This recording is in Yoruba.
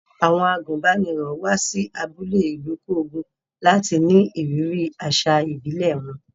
Àwọn àgùnbánirọ̀ wá sí abúlé Ilukogun láti ní ìrírí àṣà ìbílẹ̀ wọn.